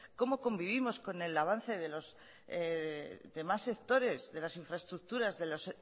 cómo convivimos con el avance de los demás sectores de las infraestructuras de los